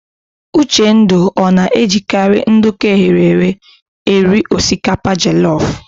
Uchendu ọ na-ejikarị nduku eghere eghe eri osikapa jelọf?